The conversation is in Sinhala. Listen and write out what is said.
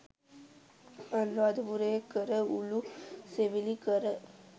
අනුරාධපුර‍යේදී කර උළු සෙවිලි කර